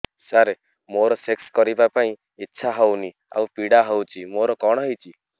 ସାର ମୋର ସେକ୍ସ କରିବା ପାଇଁ ଇଚ୍ଛା ହଉନି ଆଉ ପୀଡା ହଉଚି ମୋର କଣ ହେଇଛି